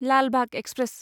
Lal Bagh express